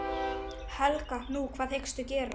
Helga: Nú, hvað hyggstu gera?